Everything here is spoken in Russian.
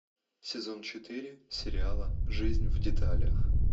сезон четыре сериала жизнь в деталях